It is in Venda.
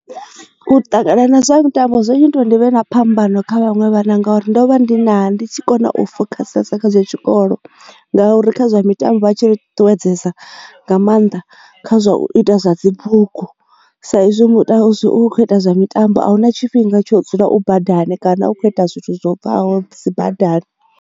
U ṱangana na zwa mitambo zwo nnyita zwori ndivhe na phambano kha vhaṅwe vhana ngauri ndo vha ndi na ndi tshi kona u focus kha zwino tshikolo ngauri kha zwa mitambo vha tshi ri ṱuṱuwedzesa nga maanḓa kha zwa u ita zwa dzibugu sa izwi zwi kho ita zwa mitambo ahuna tshifhinga tsho dzula u badani kana u kho ita zwithu zwo bvaho dzi badani.